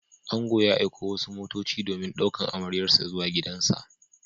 Ango ya aiko wasu motoci domin ɗaukan amaryarsa zuwa gidansa.